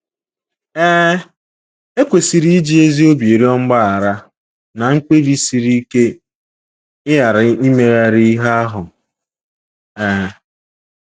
Ee, e kwesịrị iji ezi obi rịọ mgbaghara na mkpebi siri ike ịghara imegharị ihe ahụ um.